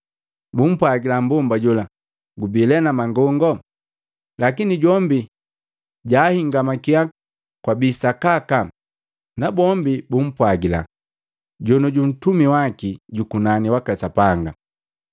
Bumpwagila mmbomba jola, “Gubi lee na mangongo!” Lakini jombi jahingamakiya kwabii sakaka, nabombi bumpwagila, “Jonioju Ntumi waki jukunani waka Sapanga.”